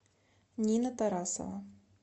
нина тарасова